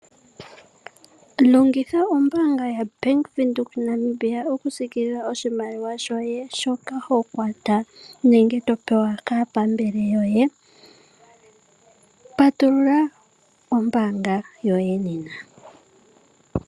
Longitha ombaanga yaBank Windhoek Namibia oku sikilila oshimaliwa shoye shoka ho kwata nenge to pewa kaapambele yoye. Patulula ombanga yoye nena.